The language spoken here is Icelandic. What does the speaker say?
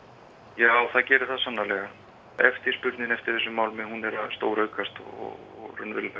já það gerir það svo sannarlega eftirspurnin eftir þessum málmi er að stóraukast og